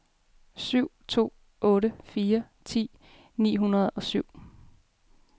syv to otte fire ti ni hundrede og syv